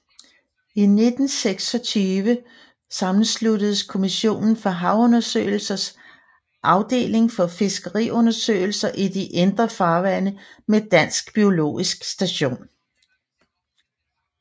I 1926 sammensluttedes Kommissionen for Havundersøgelsers Afdeling for Fiskeriundersøgelser i de Indre Farvande med Dansk biologisk Station